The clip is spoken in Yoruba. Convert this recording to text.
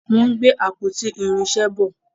wón gbé àpótí irinṣẹ bọ.